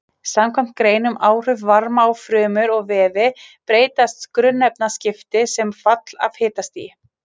Samkvæmt grein um áhrif varma á frumur og vefi breytast grunnefnaskipti sem fall af hitastigi.